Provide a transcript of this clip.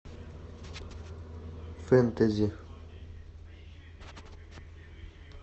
фэнтези